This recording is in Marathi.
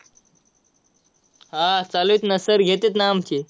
हा, चालू आहेत ना. sir घेतात ना आमचे.